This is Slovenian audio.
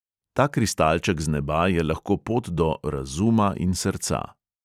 Ta kristalček z neba je lahko pot do (raz)uma in srca.